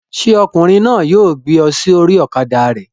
Ṣé ọkùnrin náà yóò gbé ọ sórí ọ̀kadà rẹ̀?